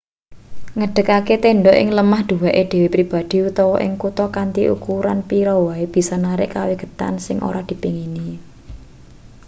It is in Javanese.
ngedekake tendha ing lemah duweke dhewe pribadi utawa ing kutha kanthi ukuran pira wae bisa narik kawigaten sing ora dipengini